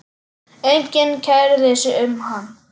Enginn kærði sig um hann.